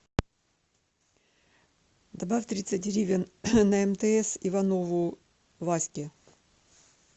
добавь тридцать гривен на мтс иванову ваське